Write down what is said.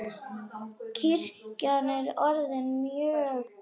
Kirkjan er orðin mjög gömul.